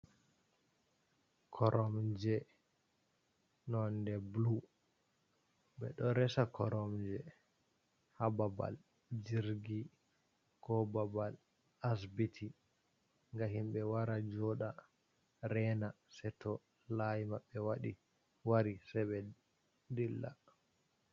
Koromje nonde blu, bedo resa Koromje ha babal Jirgi ko babal Asbiti, ngam himbe wara joda rena seto layi mabbe wadi wari se be dilla